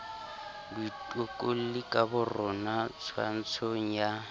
baitokolli ka borona twantshong ya